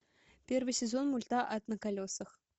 первый сезон мульта ад на колесах